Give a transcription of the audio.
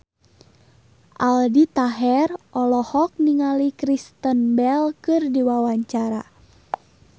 Aldi Taher olohok ningali Kristen Bell keur diwawancara